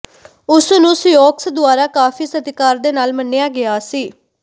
ਉਸ ਨੂੰ ਸਿਓਕਸ ਦੁਆਰਾ ਕਾਫ਼ੀ ਸਤਿਕਾਰ ਦੇ ਨਾਲ ਮੰਨਿਆ ਗਿਆ ਸੀ